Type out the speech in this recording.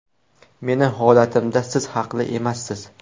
Meni holatimda siz haqli emassiz.